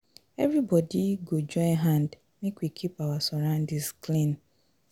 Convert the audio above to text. Everybodi go join hand make we keep our surroundings clean.